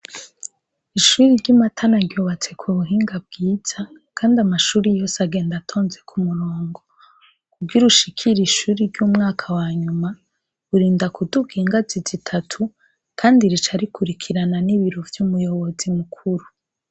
Ishuri ry'imatana ryubatse ku buhinga bwiza, kandi amashuri yose agenda atonze ku murongo kugira ushikira ishuri ry'umwaka wanyuma burinda kuduga ingazi zitatu, kandi rica rikurikirana n'ibiru vy'umuyobozi mukuru.